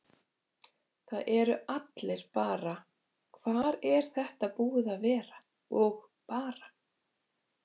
Það eru allir bara: Hvar er þetta búið að vera? og bara.